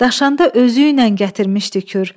Daşanda özü ilə gətirmişdi kür.